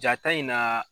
Jaa ta in na